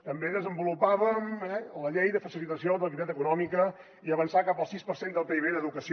també desenvolupàvem la llei de facilitació de l’activitat econòmica i avançàvem cap al sis per cent del pib en educació